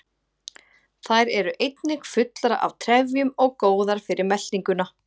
Þær eru einnig fullar af trefjum og góðar fyrir meltinguna.